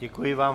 Děkuji vám.